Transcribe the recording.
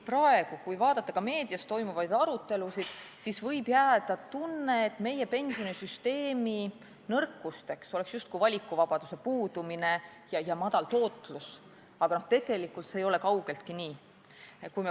Praegu, kui vaadata ka meedias toimuvaid arutelusid, võib jääda mulje, et meie pensionisüsteemi nõrkusteks oleks justkui valikuvabaduse puudumine ja vähene tootlus, aga tegelikult ei ole see kaugeltki nii.